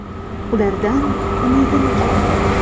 Ulardan umidim katta.